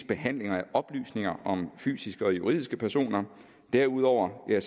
behandling af oplysninger om fysiske og juridiske personer derudover er